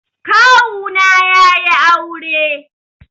Kawu na yayi aure.